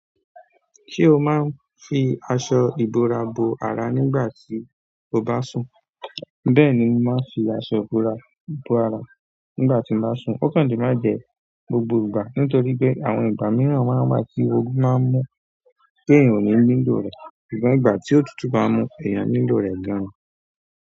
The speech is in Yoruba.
Se o máa n fi aṣọ ìbora bo ara nígbà tí o bá sun. Bẹ́ẹ̀ ni, mo máa n fi aṣọ ìbora bo ara nígbà tí n bá sun, ó kàn le má jẹ gbogbo ìgbà. Nítorí pe, àwọn ìgbà mìíràn máa n wà tí oru maá n mú ti èèyàn ò ní nílò rẹ̀, ṣùgbọ́n ìgbà tí ó tútù bá mu ẹ̀èyàn nílò rẹ̀ gan-an.